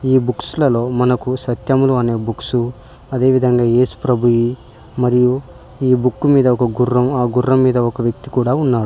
ఈ బుక్స్ లలో మనకు సత్యములు అనే బుక్సు అదేవిధంగా ఏసుప్రభుయి మరియు ఈ బుక్కు మీద ఒక గుర్రం ఆ గుర్రం మీద ఒక వ్యక్తి కూడా ఉన్నాడు.